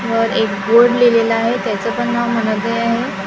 वर एक बोर्ड लिहिलेला आहे त्याचं पण नाव मनोदय आहे.